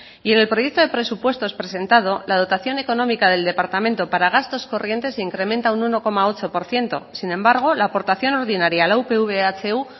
y en el proyecto de presupuestos presentado la dotación económica del departamento para gastos corrientes incrementa un uno coma ocho por ciento sin embargo la aportación ordinaria a la upv ehu